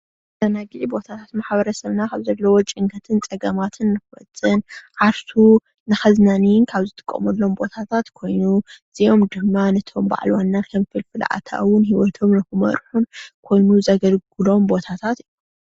መዘናግዒ ቦታታት፡- ማሕበረሰብና ካብ ዘለዎ ጭንቀታትን ፀገማትን ንክወፅእን ዓርሱ ነከዝናንይን ካብ ዝጥቀመሎም ቦታታት ኮይኑ እዝኦም ድማ ነቶም በዓል ዋና ከም ፍልፍል ኣታዊን ሂወቶም ንክመርሑን ኮይኑ ዘገልግሎም ቦታታት እዩ፡፡